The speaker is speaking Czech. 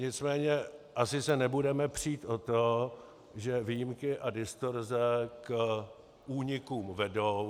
Nicméně se asi nebudeme přít o to, že výjimky a distorze k únikům vedou.